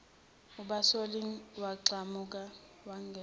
ubasolile wagxuma wagona